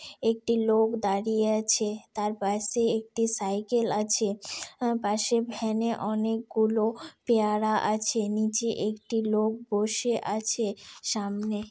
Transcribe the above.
একটি লোক দাঁড়িয়ে আছে তার পাশে একটি সাইকেল আছে আর পাশে ভ্যান এ অনেকগুলো পেয়ারা আছে নিচে একটি লোক বসে আছে সামনে।